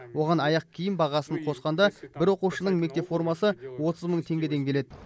оған аяқ киім бағасын қосқанда бір оқушының мектеп формасы отыз мың теңгеден келеді